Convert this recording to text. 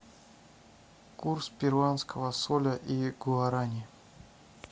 курс перуанского соля и гуарани